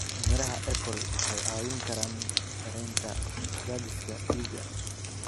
Miraha apple waxay caawin karaan yareynta cadaadiska dhiigga.